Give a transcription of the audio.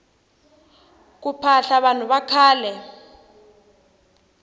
ku phahla vanhu vakhale